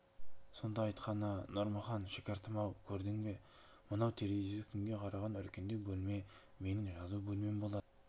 сонда айтқаны нұрмахан шәкіртім-ау көрдің бе мынау терезесі күнге қараған үлкендеу бөлме менің жазу бөлмем болады